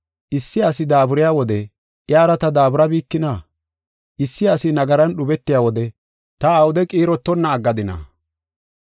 Issi asi daaburiya wode iyara ta daaburabikina? Issi asi nagaran dhubetiya wode ta awude qiirotonna aggadina?